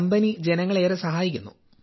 company ജനങ്ങളെ ഏറെ സഹായിക്കുന്നു